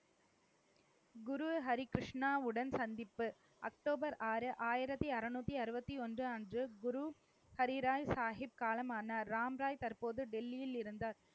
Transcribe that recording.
குரு ஹரி கிருஷ்ணாவுடன் சந்திப்பு. அக்டோபர் ஆறு, ஆயிரத்தி அறுநூத்தி அறுபத்தி ஒன்று அன்று குரு ஹரிராய் சாகிப் காலமானார். ராம்ராய் தற்போது டெல்லியில் இருந்தார்.